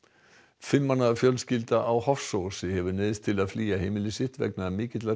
fimm manna fjölskylda á Hofsósi hefur neyðst til að flýja heimili sitt vegna mikillar